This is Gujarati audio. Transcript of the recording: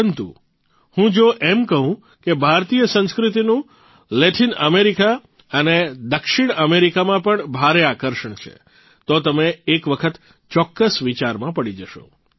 પરંતુ હું જો એમ કહું કે ભારતીય સંસ્કૃતિનું લેટીન અમેરિકા અને દક્ષિણ અમેરિકામાં પણ ભારે આકર્ષણ છે તો તમે એક વખત ચોકકસ વિચારમાં પડી જશો